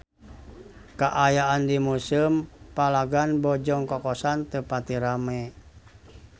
Kaayaan di Museum Palagan Bojong Kokosan teu pati rame